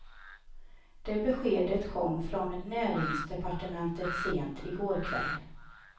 Det beskedet kom från näringsdepartementet sent i går kväll.